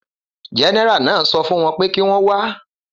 Gẹ́nẹ́rà náà sọ fún wọ́n pé kí wọ́n wá